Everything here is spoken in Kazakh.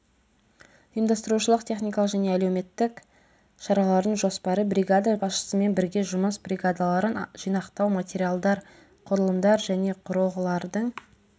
ұйымдастырушылық техникалық және әлеуметтік шаралардың жоспары бригада басшысымен бірге жұмыс бригадаларын жинақтау материалдар құрылымдар және құрылғылардың